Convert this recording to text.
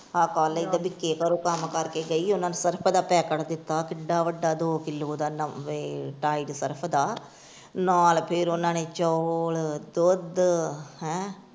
ਆਪਾਂ . ਬਿਕੇ ਘਰੋ ਕੱਮ ਕਰ ਕੇ ਗਈ ਉਹਨਾਂ ਨੇ ਸਰਫ ਦਾ ਪੈਕਟ ਦਿੱਤਾ ਕਿੱਡਾ ਵੱਡਾ ਦੋ ਕਿਲੋ ਦਾ ਟਾਇਡ ਸਰਫ਼ ਦਾ ਨਾਲ ਫੇਰ ਉਹਨਾਂ ਨੇ ਚੋਲ, ਦੁੱਧ ਹੈਂ।